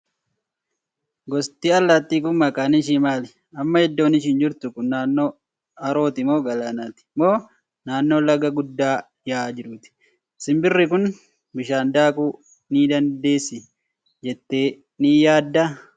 Gosti allaattii kun maqaan ishii maali? Amma iddoon ishiin jirtu kun naannoo harooti moo galaanaati? Moo naannoo laga guddaa yaa'aa jiruuti? Simbirri kun bishaan daakuu ni dandeessi jettee ni yaaddaa?